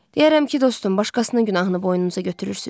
Deyərəm ki, dostum, başqasının günahını boynunuza götürürsüz.